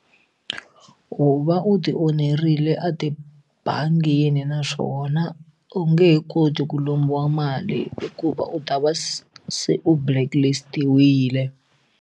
U va u ti onherile a tibangini naswona u nge he koti ku lombiwa mali hikuva u ta va se u blacklist-iwile.